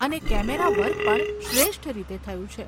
અને કેમેરાવર્ક પણ શ્રેષ્ઠ રીતે થયું છે.